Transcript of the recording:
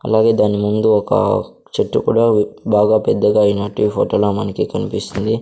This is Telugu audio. అలాగే దాని ముందు ఒక చెట్టు కూడా బాగా పెద్దగా అయినట్టు ఈ ఫోటో లో మనకి కన్పిస్తుంది.